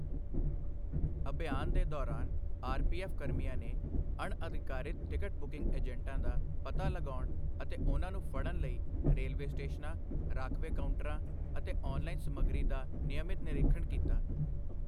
ਅਭਿਯਾਨ ਦੇ ਦੌਰਾਨ, ਆਰਪੀਐੱਫ ਕਰਮੀਆਂ ਨੇ ਅਣਅਧਿਕਾਰਿਤ ਟਿਕਟ ਬੁਕਿੰਗ ਏਜੰਟਾਂ ਦਾ ਪਤਾ ਲਗਾਉਣ ਅਤੇ ਉਨ੍ਹਾਂ ਨੂੰ ਫੜਣ ਲਈ ਰੇਲਵੇ ਸਟੇਸ਼ਨਾਂ, ਰਾਖਵੇਂ ਕਾਂਊਂਟਰਾਂ ਅਤੇ ਔਨਲਾਈਨ ਸਮੱਗਰੀ ਦਾ ਨਿਯਮਿਤ ਨਿਰੀਖਣ ਕੀਤਾ।